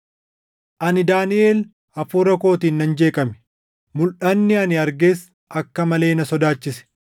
“Ani Daaniʼel hafuura kootiin nan jeeqame; mulʼanni ani arges akka malee na sodaachise.